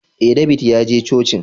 Eh, David ya je cocin